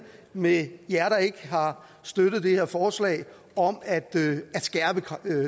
med jer der ikke har støttet det her forslag om at